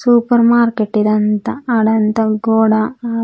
super market ఇదంతా ఆడంత గోడ ఆ--